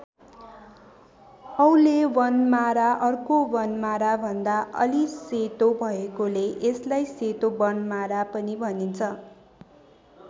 औले वनमारा अर्को वनमारा भन्दा अलि सेतो भएकोले यसलाई सेतो वनमारा पनि भनिन्छ।